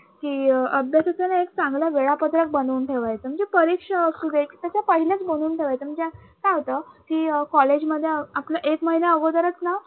असं एक चांगलं वेळापत्रक बनवून ठेवायचं म्हणजे परीक्षा असू दे त्याच्या पहिलेच बनवून ठेवायचं, म्हणजे काय होत कि college मध्ये आपल्या एक महिना अगोदरच ना अं